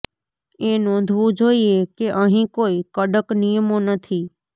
એ નોંધવું જોઇએ કે અહીં કોઈ કડક નિયમો નથી